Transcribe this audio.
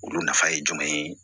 Olu nafa ye jumɛn ye